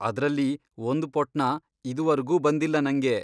ಅದ್ರಲ್ಲಿ ಒಂದ್ ಪೊಟ್ಣ ಇದುವರ್ಗೂ ಬಂದಿಲ್ಲ ನಂಗೆ.